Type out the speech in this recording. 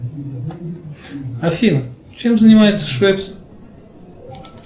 афин чем занимается швепс